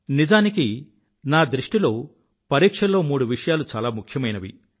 నిజానికి నా దృష్టిలో పరీక్షల్లో మూడు విషయాలు చాలా ముఖ్యమైనవి